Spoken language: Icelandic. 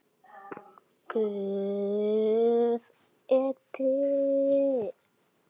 Guð er til.